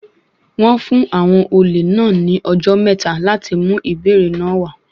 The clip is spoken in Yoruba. Wọ́n fún àwọn olè náà ní ọjọ́ mẹ́ta láti mú ìbéèrè náà wá.